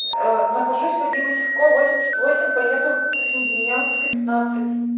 нахожусь вадима сивкова восемьдесят восемь поеду космодемьянская пятнадцать